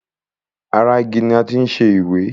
Ara igi ni a ti ń ṣẹ ìwé.